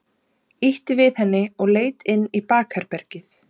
Ýtti við henni og leit inn í bakherbergið.